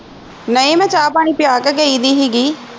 ਨਹੀਂ ਮੈਂ ਚਾਹ ਪਾਣੀ ਪਿਆ ਕੇ ਗਈ ਦੀ ਹੀਗੀ